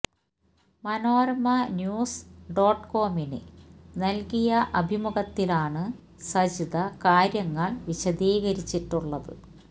Manorama news dot കോമിന് നല്കിയ അഭിമുഖത്തിലാണ് സജിത കാര്യങ്ങള് വിശദീകരിച്ചിട്ടുള്ളത്